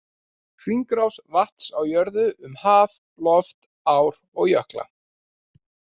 Hringrás vatns á jörðinni, um haf, loft, ár og jökla.